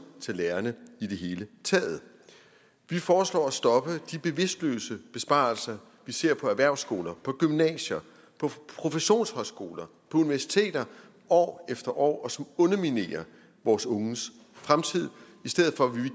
til lærerne i det hele taget vi foreslår at stoppe de bevidstløse besparelser vi ser på erhvervsskoler på gymnasier på professionshøjskoler på universiteter år efter år og som underminerer vores unges fremtid i stedet for vil vi